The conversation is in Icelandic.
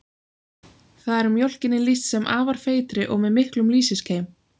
Þar er mjólkinni lýst sem afar feitri og með miklum lýsiskeim.